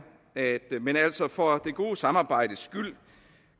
men altså for det gode samarbejdes skyld